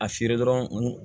A feere dɔrɔn n